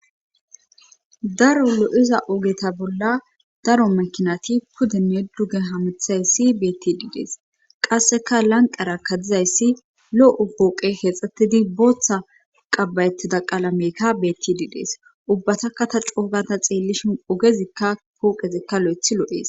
daro lo'iza ogeta bolla daro makinati pudinne duge hamithayssi beetti diidees qasseka lanqara kadizayssi lo'loo'ees.o pooqe hexxattidi booththa qabayettida qalameykka beetti diidees ubbataka ta coogata xeellishin ogezikka pooqezikka .